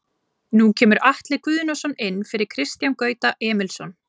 Nú kemur Atli Guðnason inn fyrir Kristján Gauta Emilsson.